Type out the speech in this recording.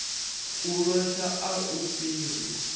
u losha a u fhiri